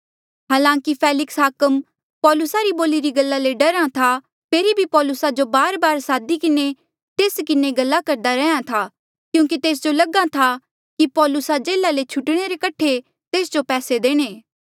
हलांकि फेलिक्स हाकम पौलुसा री बोलिरी गल्ला ले डरहा था फेरी भी पौलुसा जो बारबार सादी किन्हें तेस किन्हें गल्ला करदा रैंहयां ऐें था क्यूंकि तेस जो लगहा था की पौलुसा जेल्हा ले छुटणे रे कठे तेस जो पैसे देणे